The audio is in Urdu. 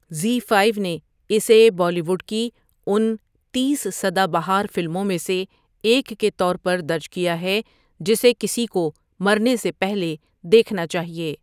زی فایف نے اسے بالی ووڈ کی ان تیس سدا بہار فلموں میں سے ایک کے طور پر درج کیا ہے جسے کسی کو مرنے سے پہلے دیکھنا چاہیے۔